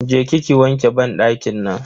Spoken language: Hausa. Je ki ki wanke banɗakin nan.